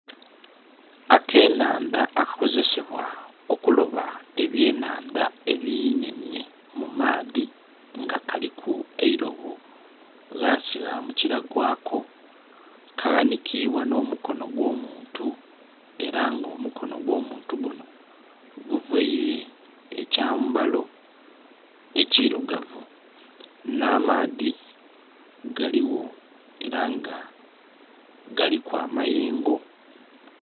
Akenhandha akakozesebwa okulaba ebyenhandha ebinhenhe mu maadhi nga kaliku eilobo ghansi ghamukila gwako kaghanikibwa n'omukono ogw'omuntu ela nga omukono ogw'omuntu gunho guvaile ekyambalo ekirugavu, nh'amaadhi galigho ela nga galiku amayengo.